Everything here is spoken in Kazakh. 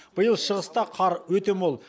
биыл шығыста қар өте мол